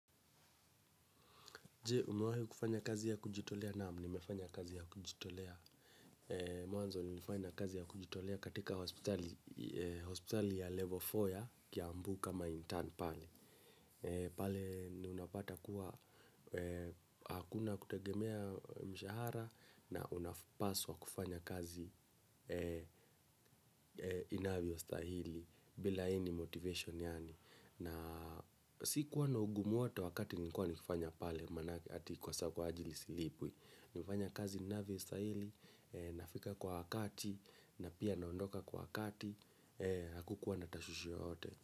Jee, umewahi kufanya kazi ya kujitolea? Naam nimefanya kazi ya kujitolea. Mwanzo nilifanya kazi ya kujitolea katika hospitali ya level nne ya Kiambu kama intern pale. Pale ni unapata kuwa hakuna kutegemea mshahara na unapaswa kufanya kazi. Inavyostahili bila any motivation yaani na sikuwa na ugumu wote wakati niliikuwa nikifanya pale manake ati kuwa saa kwa ajili silipwi. Nimefanya kazi ninavyo stahili, nafika kwa wakati na pia naondoka kwa wakati. Hakukuwa tashwishi yoyote.